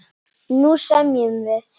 Nú semjum við!